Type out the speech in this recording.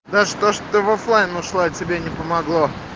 да что ж ты в оффлайн ушла от тебя не помогло